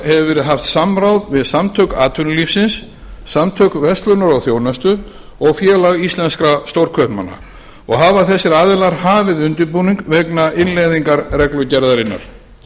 hefur verið haft samráð við samtök atvinnulífsins samtök verslunar og þjónustu og félag íslenskra stórkaupmanna og hafa þessir aðilar hafið undirbúning vegna innleiðingar reglugerðarinnar